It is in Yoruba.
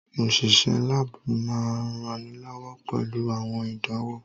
Òṣìṣẹ́ láàbù máa ń ranilọ́wọ́ pẹ̀lú àwọn ìdánwò